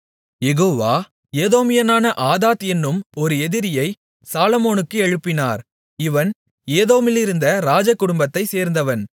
யெகோவா ஏதோமியனான ஆதாத் என்னும் ஒரு எதிரியைச் சாலொமோனுக்கு எழுப்பினார் இவன் ஏதோமிலிருந்த ராஜ குடும்பத்தைச்சேர்ந்தவன்